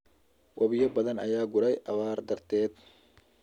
Wabiyo badan ayaa guray abaar darteed.